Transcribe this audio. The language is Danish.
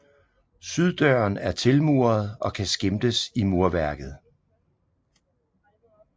Syddøren er tilmuret og kan skimtes i murværket